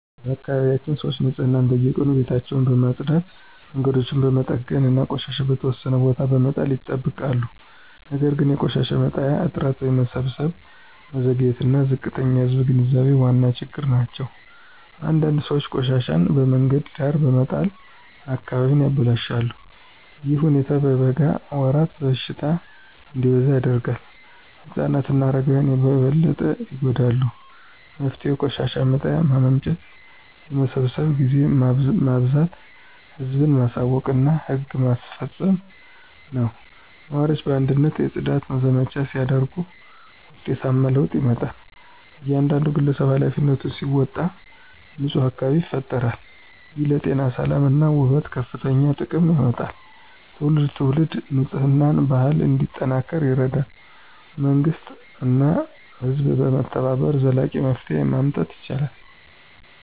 በአካባቢያችን ሰዎች ንፅህናን በየቀኑ ቤታቸውን በመጽዳት መንገዶችን በመጠገን እና ቆሻሻ በተወሰነ ቦታ በመጣል ይጠብቃሉ። ነገር ግን የቆሻሻ መጣያ እጥረት የመሰብሰብ መዘግየት እና ዝቅተኛ የህዝብ ግንዛቤ ዋና ችግሮች ናቸው። አንዳንድ ሰዎች ቆሻሻቸውን በመንገድ ዳር በመጣል አካባቢውን ያበላሻሉ። ይህ ሁኔታ በበጋ ወራት በሽታ እንዲበዛ ያደርጋል ህፃናት እና አረጋውያን በበለጠ ይጎዳሉ። መፍትሄው የቆሻሻ መጣያ ማመንጨት የመሰብሰብ ጊዜ ማበዛት ህዝብን ማሳወቅ እና ህግ ማስፈጸም ነው። ነዋሪዎች በአንድነት የጽዳት ዘመቻ ሲያደርጉ ውጤታማ ለውጥ ይመጣል። እያንዳንዱ ግለሰብ ኃላፊነቱን ሲወጣ ንፁህ አካባቢ ይፈጠራል። ይህ ለጤና ሰላም እና ውበት ከፍተኛ ጥቅም ያመጣል ትውልድ ትውልድ የንፅህና ባህል እንዲጠናከር ይረዳል። መንግሥት እና ህዝብ በመተባበር ዘላቂ መፍትሄ ማምጣት ይችላሉ።